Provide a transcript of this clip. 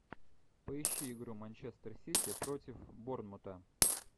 поищи игру манчестер сити против борнмута